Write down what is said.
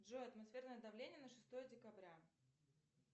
джой атмосферное давление на шестое декабря